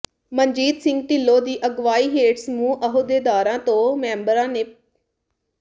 ਮਨਜੀਤ ਸਿੰਘ ਢਿੱਲੋਂ ਦੀ ਅਗਵਾਈ ਹੇਠ ਸਮੂਹ ਅਹੁਦੇਦਾਰਾਂ ਤੇ ਮੈਂਬਰਾਂ ਨੇ ਪ੍ਰੋ